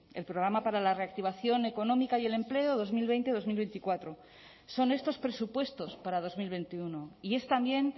el programa para la reactivación económica y el empleo dos mil veinte dos mil veinticuatro son estos presupuestos para dos mil veintiuno y es también